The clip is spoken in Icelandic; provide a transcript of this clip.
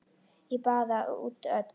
Ég baða út öll